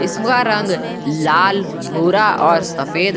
का रंग लाल भरा और सफेद--